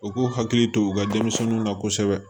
U k'u hakili to u ka denmisɛnninw na kosɛbɛ